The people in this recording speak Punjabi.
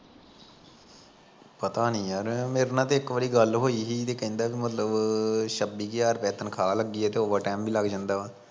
ਪਤਾ ਨੀ ਯਾਰ ਮੇਰੇ ਨਾਲ਼ ਤਾਂ ਇੱਕ ਵਾਰੀ ਗੱਲ ਹੋਈ ਸੀ ਤੇ ਕਹਿੰਦਾ ਕਿ ਮਤਲਬ ਛੱਬੀ ਹਜ਼ਾਰ ਤਨਖਾਹ ਲੱਗੀ ਆ ਨਾਲ਼ ਓਵਰ ਟੈਮ ਵੀ ਬਣ ਜਾਂਦਾ ਵਾ